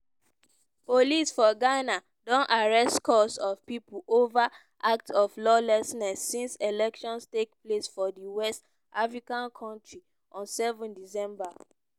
police for ghana don arrest scores of pipo ova act of lawlessness since elections take place for di west african kontri on 7 december.